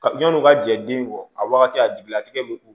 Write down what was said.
Ka yan'u ka jɛ den kɔ a wagati a jigilatigɛ bɛ k'u